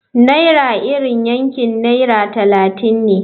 Naira iri yankin naira talatin ne.